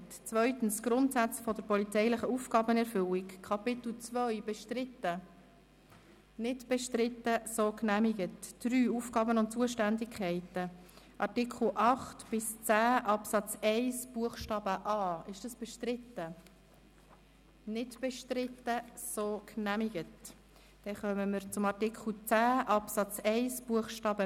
Sie finden die Änderungen von Kommission und Regierungsrat in der «Fahne» und die anderen Anträge im separaten Dokument, wobei Version 3 die aktuelle Fassung ist.